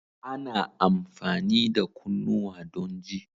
Ana amfani da kunnuwa don ji